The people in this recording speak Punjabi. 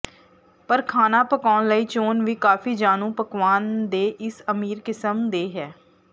ਪਰ ਖਾਣਾ ਪਕਾਉਣ ਲਈ ਚੋਣ ਵੀ ਕਾਫ਼ੀ ਜਾਣੂ ਪਕਵਾਨ ਦੇ ਇਸ ਅਮੀਰ ਕਿਸਮ ਦੇ ਹੈ